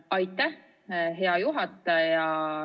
Aitäh, hea juhataja!